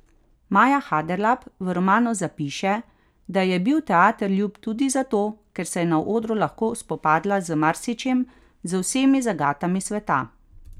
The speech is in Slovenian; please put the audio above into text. Maja Haderlap v romanu zapiše, da ji je bil teater ljub tudi zato, ker se je na odru lahko spopadla z marsičem, z vsemi zagatami sveta.